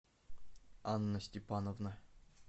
анна степановна